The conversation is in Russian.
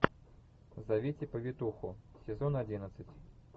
зовите повитуху сезон одиннадцать